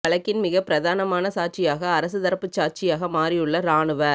இவ்வழக்கின் மிகப் பிரதானமான சாட்சியாக அரசு தரப்புச் சாட்சியாக மாறியுள்ள இராணுவ